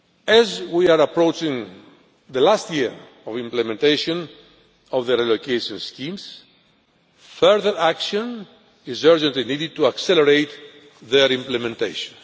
As we are approaching the last year of implementation of the relocation schemes, further action is urgently needed to accelerate their implementation.